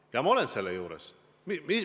Ja ma jään selle juurde.